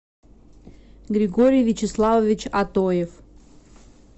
григорий вячеславович атоев